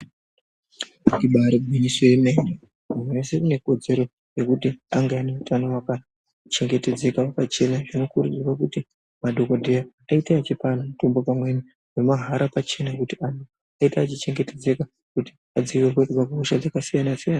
Ibari gwinyiso yemene muntu weshe une kodzero yekuti ange ane utano hwakachengetedzeka pachena zvinokurudzirwa kuti madhokodheya aite ichipa anhu mutombo pamweni nemahara pachena kuti kabinoita ichichengetedzeka kuti vadzivirirwe kuhosha dzakasiyana siyana.